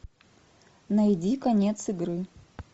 найди конец игры